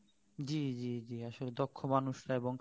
জ্বী জ্বী জ্বী আসলে দক্ষ মানুষরা এবং